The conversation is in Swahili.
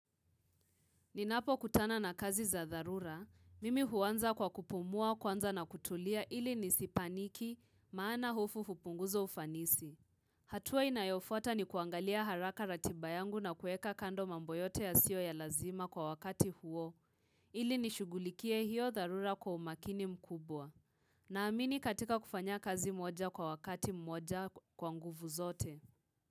Ninapo kutana na kazi za dharura, mimi huwanza kwa kupumua kwanza na kutulia ili nisi paniki maana hofu hupunguza ufanisi. Hatua inayofuata ni kuangalia haraka ratibayangu na kueka kando mambo yote ya siyo ya lazima kwa wakati huo, ili nishugulikie hiyo dharura kwa umakini mkubwa. Na amini katika kufanya kazi moja kwa wakati moja kwa nguvu zote.